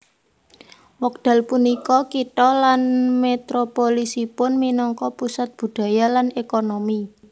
Wekdal punika kitha lan metropolisipun minangka pusat budhaya lan ékonomi